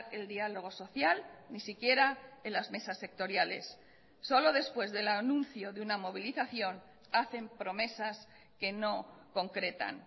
el diálogo social ni siquiera en las mesas sectoriales solo después del anuncio de una movilizaciónhacen promesas que no concretan